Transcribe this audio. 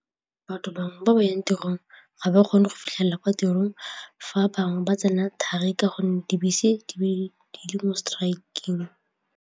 Bqtho bangwe ba ba yang tirong ga ba kgone go fitlhelela kwa tirong fa a bangwe ba tsena thari ka gonne dibese di le mo strike-eng.